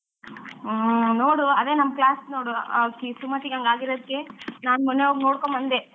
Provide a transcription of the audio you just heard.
ಹ್ಮ್ ನೋಡು ಅದೇ ನಮ್ class ನೋಡು ಆಕಿ ಸುಮತಿಗ್ ಹಂಗ್ ಆಗಿರೋದಕ್ಕೆ ನಾನ್ ಮೊನ್ನೆ ಹೋಗಿ ನೊಡ್ಕೊಂಡ್ ಬಂದೆ.